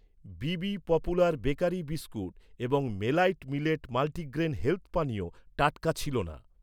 বিবি popular bakery biscuit এবং মেলাইট millet multigrain health পানীয় টাটকা ছিল না।